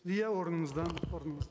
иә орныңыздан орныңыз